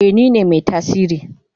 Eh nine mai tasiri.